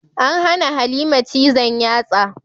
An hana Halima cizon yatsa.